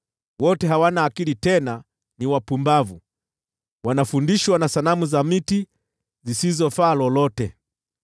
Wote hawana akili, tena ni wapumbavu, wanafundishwa na sanamu za miti zisizofaa lolote.